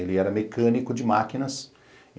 Ele era mecânico de máquinas.